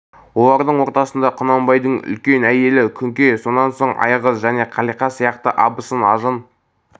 олардың ортасында құнанбайдың үлкен әйелі күнке сонан соң айғыз және қалиқа сияқты абысын-ажын